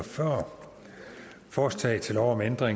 for forslagsstillerne da der